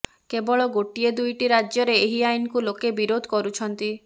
କେବଳ ଗୋଟିଏ ଦୁଇଟି ରାଜ୍ୟରେ ଏହି ଆଇନକୁ ଲୋକେ ବିରୋଧ କରୁଛନ୍ତି